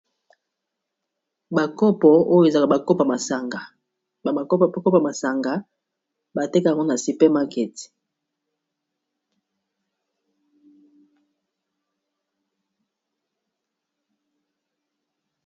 Ba kopo oyo ezalaka ba kopa ya masanga batekaka yango na super market.